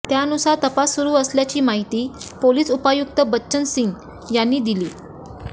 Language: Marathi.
त्यानुसार तपास सुरु असल्याची माहिती पोलीस उपायुक्त बच्चन सिंह यांनी दिली